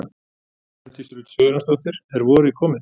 Hjördís Rut Sigurjónsdóttir: Er vorið komið?